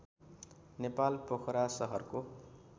नेपाल पोखरा सहरको